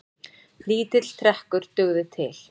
Lítill trekkur dugði til.